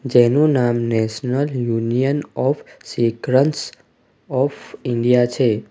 જેનું નામ national union of સેક્રેન્સ ઓફ ઇન્ડિયા છે.